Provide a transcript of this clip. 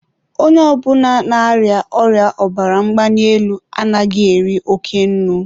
onye ọ bụla na-arịa ọrịa ọbara mgbali elu anaghị eri oke nnu.